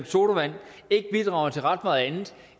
sodavand ikke bidrager til ret meget andet